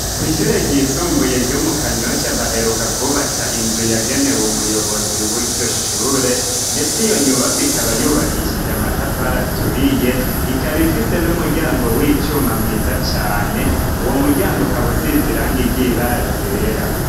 Kw'ishure ryisumbuye ryo mu kanyoshya baheruka kwubaka inzu yagenewe umuyobozi w'iryoshure ndetse iyo nyubako ikaba yubakishije amatafari aturiye ikaba ifise n'umuryango w'icuma mwiza cane uwo muryango ukabusize iranga ryera.